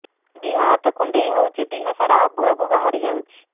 ଦିହ ହାତ କୁଣ୍ଡେଇ ହଉଛି ଦିହ ସାରା ଆବୁ ଆବୁ ବାହାରି ଯାଉଛି